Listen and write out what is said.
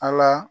Ala